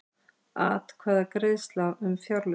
Atkvæðagreiðsla um fjárlögin